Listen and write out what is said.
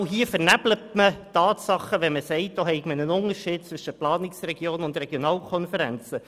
Auch hier werden die Tatsachen vernebelt, wenn gesagt wird, es bestehe ein Unterschied zwischen Planungsregionen und Regionalkonferenzen.